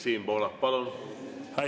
Siim Pohlak, palun!